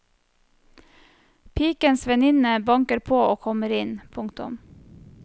Pikens venninne banker på og kommer inn. punktum